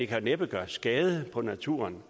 kan næppe gøre skade på naturen